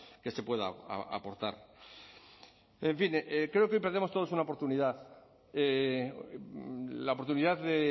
que se pueda aportar en fin creo que hoy perdemos todos una oportunidad la oportunidad de